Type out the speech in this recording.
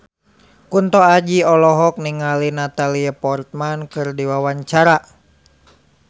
Kunto Aji olohok ningali Natalie Portman keur diwawancara